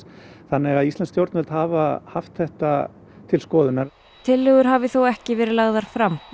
þannig að íslensk stjórnvöld hafa haft þetta til skoðunar tillögur hafi þó ekki verið lagðar fram